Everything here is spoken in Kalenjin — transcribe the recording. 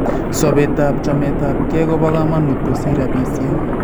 Sobeetaab chometabke koba kaamanuut kosir rabisiek